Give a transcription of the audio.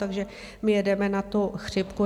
Takže my jedeme na tu chřipku.